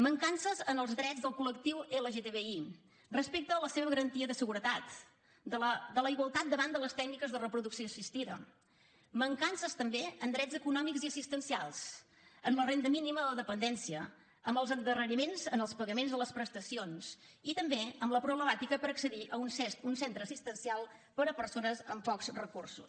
mancances en els drets del col·lectiu lgtbi respecte a la seva garantia de seguretat de la igualtat davant de les tècniques de reproducció assistida mancances també en drets econòmics i assistencials en la renda mínima a la dependència amb els endarreriments en els pagaments de les prestacions i també amb la problemàtica per accedir a uns centre assistencial per a persones amb pocs recursos